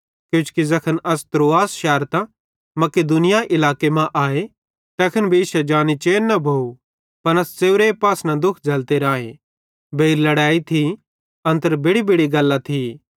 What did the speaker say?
किजोकि ज़ैखन अस त्रअस शैरतां मकिदुनिया इलाके मां आए तैखन भी इश्शे जानी चैन न भोइ पन अस च़ेव्रे पासना दुःख झ़ल्लते राए बेइर लड़ैई थी अन्तर बेड़िबेड़ि गल्लां थी